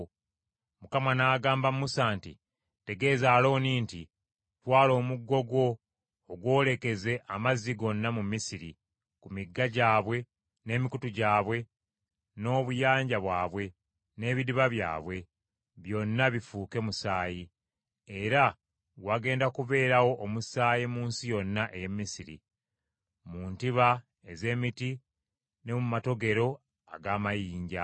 Mukama n’agamba Musa nti, “Tegeeza Alooni nti, ‘Twala omuggo gwo ogwolekeze amazzi gonna mu Misiri: ku migga gyabwe, n’emikutu gyabwe, n’obuyanja bwabwe, n’ebidiba byabwe, byonna bifuuke musaayi. Era wagenda kubeerawo omusaayi mu nsi yonna ey’e Misiri: mu ntiba ez’emiti ne mu matogero ag’amayinja.’ ”